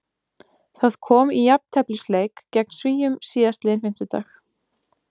Það kom í jafnteflisleik gegn Svíum síðastliðinn fimmtudag.